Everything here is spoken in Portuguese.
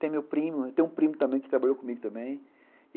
Tem meu primo, tem um primo também que trabalhou comigo também.